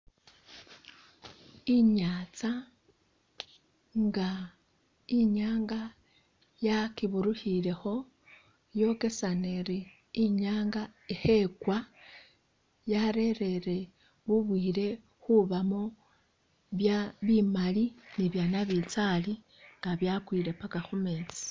Inyatsa nga inyanga ya kiburukhilekho yokesana iri inyanga ikho i kwa yarerere bubwiile khubamo bya bimali ni bya nabitsali nga byakwile paka khu metsi.